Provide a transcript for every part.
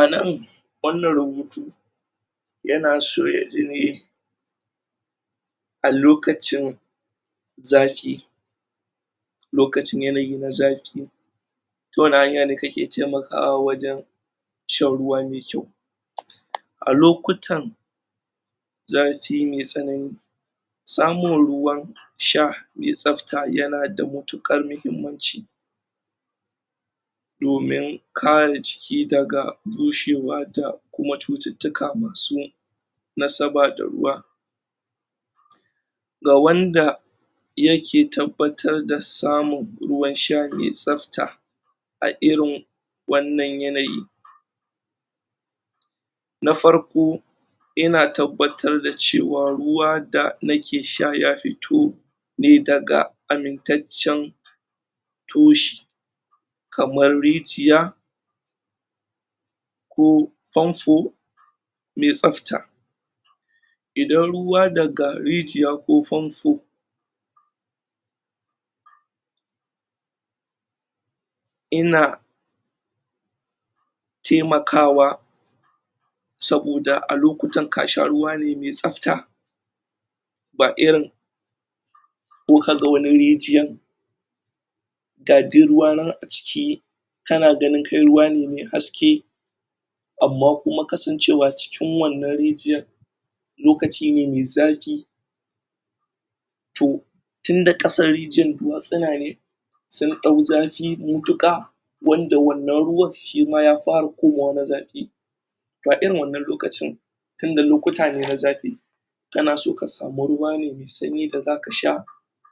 Anan wannan rubutu yana so ya ji ne a lokacin zafi lokacin yanayi na zafi ta wane hanya ne kake taimakawa wajen shan ruwa mai kyau a lokutan zafi maumi tsanani samun ruwan sha mai tsafta yana da matukar mahimmaci domin kare jiki daga bushewa da kuma cututtuka madu nasaba da ruwa ga wanda yake tabbatar da samun ruwan sha mai tsafta a irin wanan yanayi, na farko, yana tabbatar da cewa ruwa da nake sha ya fito ne daga amintaccen toshi kamar rijiya ko famfo mai tsafta, idan ruwa daga rijiya ko famfo ina ina taimakawa saboda a lokutan ka sha ruwa ne mai tsafta ba irin ko kaga wani rijiyan ga duk ruwa nan a ciki kana ganin kai ruwa ne mai haske amma kuma kasancewa cikin wannann rijiyar lokaci ne mai zafi toh tunda kasan rijiuar duwatsuna newanda ya dau zafi matuka wanda wannan ruwan shima ya fara zama na zafi to a irin wannan lokacin tunda lokuta ne na zafi kana so ka samu ruwa ne mai sanyi wanda zaka sha,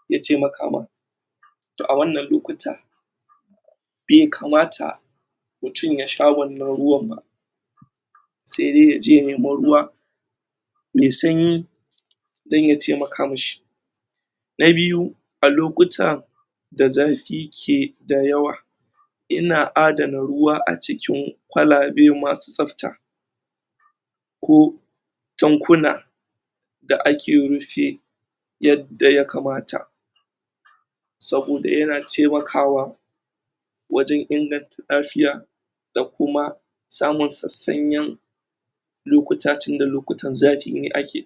zai taimaka maka a wannan lokuta bai kamata mutum ya sha wannan ruwan ba sai dai yaje ya nemi ruwa mai sanyi don ya taimaka mishi na biyu a lokuta da zafi ke da yawa ina adana ruwa a cikin kwalabe masu tsafta ko tankuna da ake rufi yadda ya kamata saboda yana taimakawa wajen inganta lafiya da kuma samun sassanyan lokuta tunda lokutan zafi ne ake